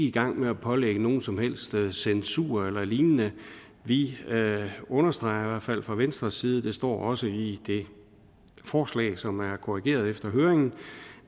i gang med at pålægge nogen som helst censur eller lignende vi understreger fald fra venstres side det står også i det forslag som er korrigeret efter høringen